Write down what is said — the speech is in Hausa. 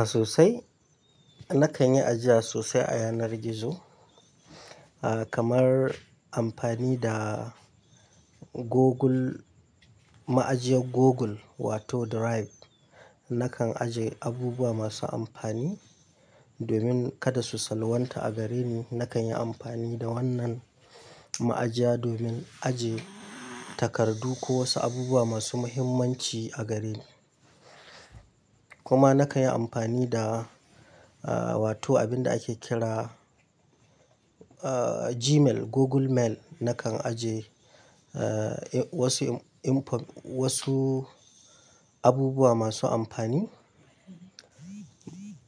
A sosai. Nakan yi ajiya sosai a yanar gizo, ah kamar amfani da Google, ma'ajiyar Google, wato Drive. Nakan aje abubuwa masu amfani, domin kada su salwanta a gare ni, Nakan yi amfani da wannan ma'ajiya, domin aje takardu ko wasu abubuwa masu muhimmanci a gare ni. Kuma nakan yi amfani da, ah, wato abin da ake kira, ah Gmail, Google Mail. Nakan aje ah wasu info, wasu abubuwa masu amfani,